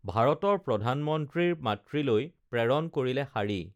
ভাৰতৰ প্ৰধানমন্ত্ৰীৰ মাতৃলৈ প্ৰেৰণ কৰিলে শাড়ী